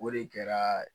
O de kɛra